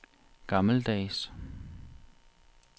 gammeldags